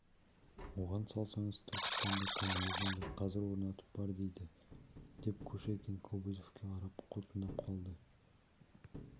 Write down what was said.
оған салсаңыз түркістанда коммунизмді қазір орнатып бер дейді деп кушекин кобозевке қарап қутыңдап қалды